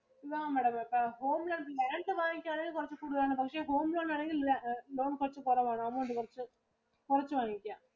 നമ്മടെ പേർക്ക് Home loan നേരത്തെ വാങ്ങിക്കുവാണെങ്കിൽ കുറച്ചു കൂടുതലായിരുന്നു. പക്ഷെ home loan വേണമെങ്കിൽ loan കുറച്ചു കുറവാണു. അത് കൊണ്ട് കുറച്ചു കുറച്ചു വാങ്ങിക്കാം.